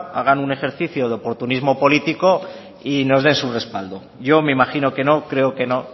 hagan un ejercicio de oportunismo político y nos den su respaldo yo me imagino que no creo que no